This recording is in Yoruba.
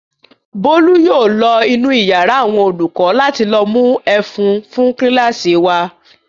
Bólú yóò lọ inú ìyàrá àwọn olùkọ́ láti lọ mú ẹ̀fún fún kíláàsì wa.